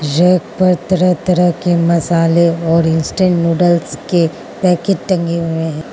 यहां पर तरह तरह के मसाले और इंस्टेंट नूडल्स के पैकेट टंगे हुए हैं।